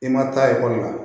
I ma taa ekɔli la